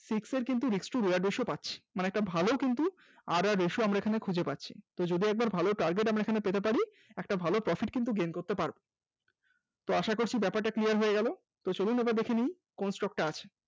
risk to reward ratio পাচ্ছি মানে একটা ভালো কিন্তু rr ratio আমরা খুঁজে পাচ্ছি যদি একবার আমরা ভালো target পেতে পারি, একটা ভালো profit gain করতে পারব আশা করছি ব্যাপারটা clear হয়ে গেল। চলুন একবার দেখে নিন কোন stock টা আছে।